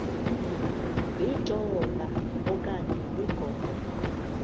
litola okanye ligogo